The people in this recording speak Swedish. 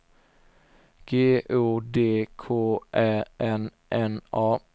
G O D K Ä N N A